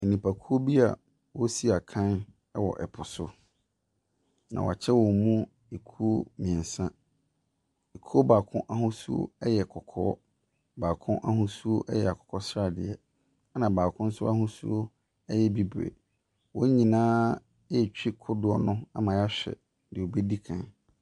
Nipakuo bi a wɔresi akan wɔ po so. Na wɔakyɛ wɔn mu ekuo mmeɛnsa. Ekuo baako ahosuo yɛ kɔkɔɔ, baako ahosuo yɛ akokɔsradeɛ, ɛna baako nso ahosuo yɛ bibire. Wɔn nyinaa retwi kodoɔ no ama wɔahwɛ deɛ ɔbɛdi kan.